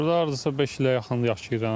Burada hardasa beş ilə yaxın yaşayıram.